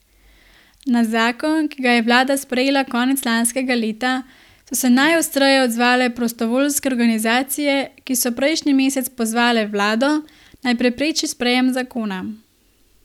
Na zakon, ki ga je vlada sprejela konec lanskega leta, so se najostreje odzvale prostovoljske organizacije, ki so prejšnji mesec pozvale vlado, naj prepreči sprejem zakona.